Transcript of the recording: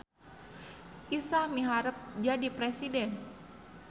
Isah miharep jadi presiden